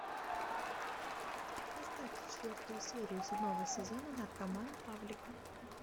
поставьте четвертую серию седьмого сезона наркоман павлик